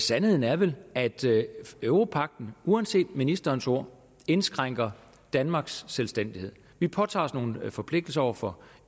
sandheden er vel at europagten uanset ministerens ord indskrænker danmarks selvstændighed vi påtager os nogle forpligtelser over for